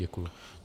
Děkuji.